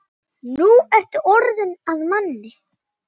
Nú ertu orðinn að manni.